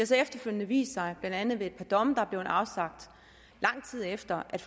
så efterfølgende vist sig blandt andet ved et par domme der er blevet afsagt lang tid efter at